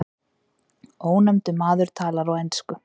Ónefndur maður talar á ensku.